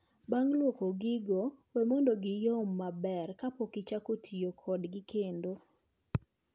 Bang' lwoko gigo, we mondo giyom maber kapok ichak ti kodgi kendo.